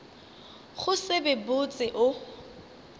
go se be botse o